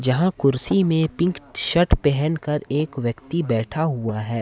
यहां कुर्सी में पिंक शट पहन कर एक व्यक्ति बैठा हुआ है।